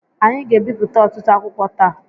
Anyị ga-ebipụta ọtụtụ akwụkwọ taa.